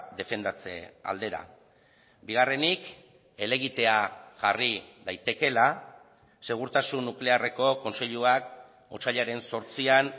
defendatze aldera bigarrenik helegitea jarri daitekeela segurtasun nuklearreko kontseiluak otsailaren zortzian